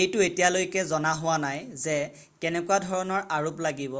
এইটো এতিয়ালৈকে জনা হোৱা নাই যে কেনেকুৱা ধৰণৰ আৰোপ লাগিব